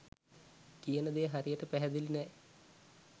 කියන දේ හරියට පැහැඳිළී නැහැ